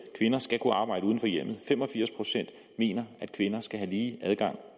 kvinder skal kunne arbejde uden for hjemmet fem og firs procent mener at kvinder skal have lige adgang